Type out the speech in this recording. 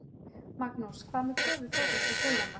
Magnús: Hvað með kröfu Þórhalls og Sigrúnar?